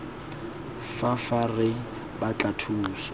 fa fa re batla thuso